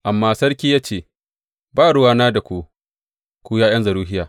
Amma sarki ya ce, Ba ruwana da ku, ku ’ya’yan Zeruhiya.